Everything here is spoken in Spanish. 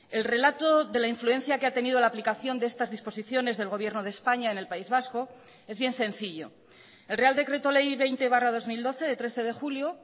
el relato de la influencia que ha tenido la aplicación de estas disposiciones del gobierno de españa en el país vasco es bien sencillo el real decreto ley veinte barra dos mil doce de trece de julio